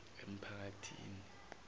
emphakathini